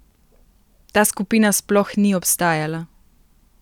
Ta skupina sploh ni obstajala!